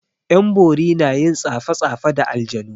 'Yan bori na yin tsafe tsafe da aljanu.